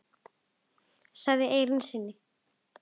sagðir í eyra syni.